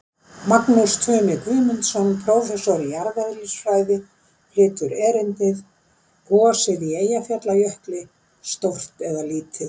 Magnús Tumi Guðmundsson, prófessor í jarðeðlisfræði, flytur erindið: Gosið í Eyjafjallajökli, stórt eða lítið?